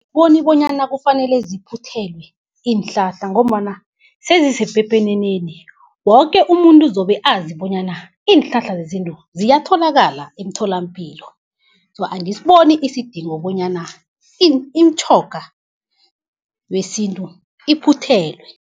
Angiboni bonyana kufanele ziphuthelwe iinhlahla, ngombana sezisepepeneneni woke umuntu uzobe azi bonyana iinhlahla zesintu ziyatholakala emtholampilo. So, angisiboni isidingo bonyana imitjhoga yesintu iphuthelwe.